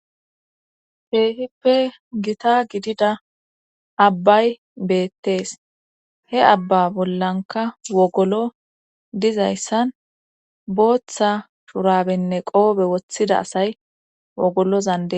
Keehippe gita gidida abbay beettees he abba bollanka wogolo dizayssan booththa shurabenne qoobe woththida asay wogolo zande.